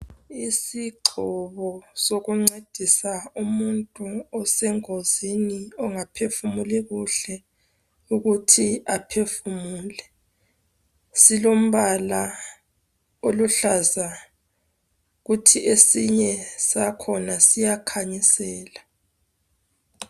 Isigxobo esokuncedisa umuntu osengozini, ongaphefumuli kuhle ukuthi aphefumule. Silombala oluhlaza. Kuthi esinye sakhona siyakhanyisela.